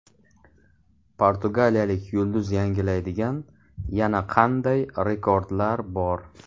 Portugaliyalik yulduz yangilaydigan yana qanday rekordlar bor?.